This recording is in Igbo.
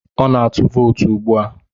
Ọ na-atụ vootu ugbu a.